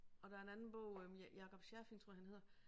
Og der en anden bog øh Jacob Scherfig tror jeg han hedder